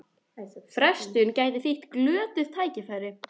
Frestun gæti þýtt glötuð tækifæri